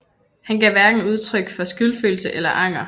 Han gav hverken udtryk for skyldfølelse eller anger